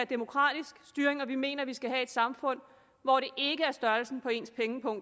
demokratisk styring og vi mener at man skal have et samfund hvor det ikke er størrelsen på ens pengepung